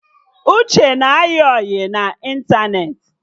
Uche na-ayị ọyị na ịntanetị